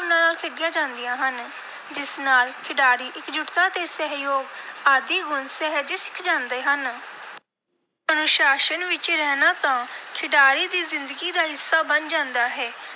ਭਾਵਨਾ ਨਾਲ ਖੇਡੀਆਂ ਜਾਂਦੀਆਂ ਹਨ, ਜਿਸ ਨਾਲ ਖਿਡਾਰੀ ਇਕਜੁੱਟਤਾ ਤੇ ਸਹਿਯੋਗ ਆਦਿ ਗੁਣ ਸਹਿਜੇ ਸਿੱਖ ਜਾਂਦੇ ਹਨ। ਅਨੁਸ਼ਾਸਨ ਵਿਚ ਰਹਿਣਾ ਤਾਂ ਖਿਡਾਰੀ ਦੀ ਜ਼ਿੰਦਗੀ ਦਾ ਹਿੱਸਾ ਬਣ ਜਾਂਦਾ ਹੈ,